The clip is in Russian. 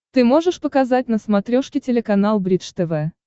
ты можешь показать на смотрешке телеканал бридж тв